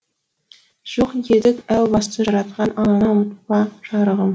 жоқ едік әу баста жаратқан алланы ұмытпа жарығым